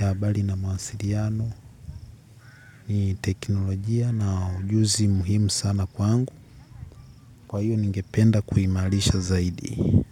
ya habari na mawasiliano. Ni teknolojia na ujuzi muhimu sana kwangu. Kwa hiyo ningependa kuimarisha zaidi.